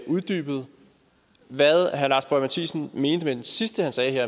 uddybet hvad herre lars boje mathiesen mente med det sidste han sagde